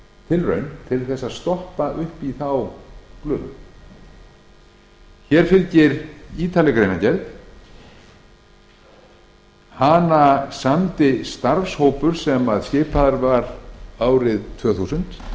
tilraun til að stoppa í þá glufu hér fylgir ítarleg greinargerð hana samdi starfshópur sem skipaður var árið tvö þúsund og